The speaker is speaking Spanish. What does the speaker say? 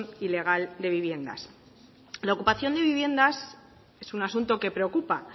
ilegal de viviendas la ocupación de viviendas es un asunto que preocupa